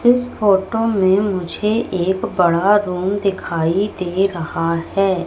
इस फोटो में मुझे एक बड़ा रूम दिखाई दे रहा है।